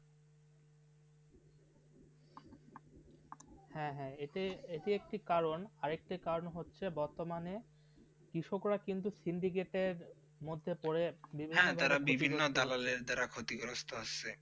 হেঁ হেঁ যেটা একটি কারণ আর একটি কারণ হচ্ছে বর্তমানে কৃষকরা কিন্তু সিন্ধীকেটে মধ্যে পরে হ্যাঁ তারা বিভিন্ন তাললে তারা ক্ষতি গ্রাহ্য আছে.